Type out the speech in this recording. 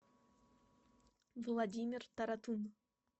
владимир таратын